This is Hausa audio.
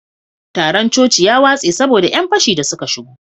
taron coci ya watse saboda yan fashi da suka shigo